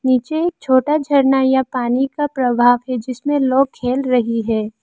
नीचे एक छोटा झरना या पानी का प्रभाव है जिसमें लोग खेल रही है।